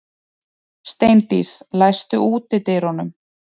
Steindís, læstu útidyrunum.